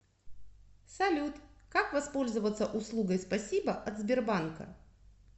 салют как воспользоваться услугой спасибо от сбербанка